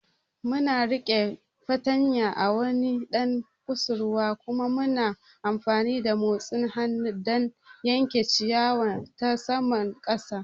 Muna riƙe fartanya a wani ɗan kusurwa kuma muna amfani da motsin hannu don yanke ciyawa ta saman ƙasa.